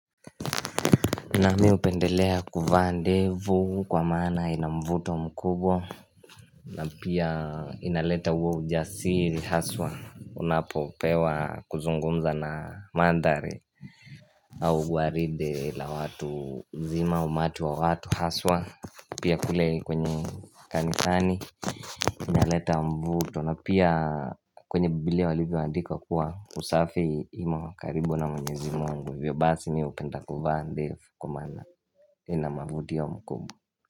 Nami upendelea kuvaa ndevu kwa maana ina mvuto mkubwa na pia inaleta uwo ujasiri haswa Unapopewa kuzungumza na mandhari au waride la watu zima au umati wa watu haswa Pia kule kwenye kanisani Inaleta mvuto na pia kwenye Bibilia walivyoandika kuwa usafi imo karibu na mwenyezi Mungu ivyo basi mi hupenda kuvaa ndevu kwa maana ina mavutio mkubwa.